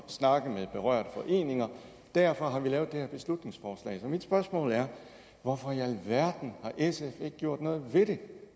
snakke med berørte foreninger derfor har vi lavet det her beslutningsforslag så mit spørgsmål er hvorfor i alverden har sf ikke gjort noget ved det